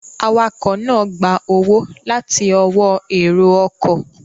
Awakọ̀ náà gba owó láti ọwọ́ èrò ọkọ̀